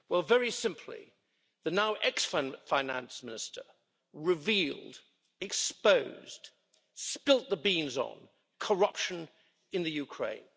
Very simply, the now ex-finance minister revealed, exposed, spilt the beans on corruption in Ukraine.